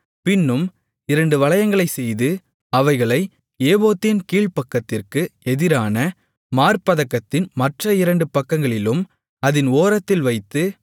பின்னும் இரண்டு வளையங்களைச்செய்து அவைகளை ஏபோத்தின் கீழ்ப்பக்கத்திற்கு எதிரான மார்ப்பதக்கத்தின் மற்ற இரண்டு பக்கங்களிலும் அதின் ஓரத்தில் வைத்து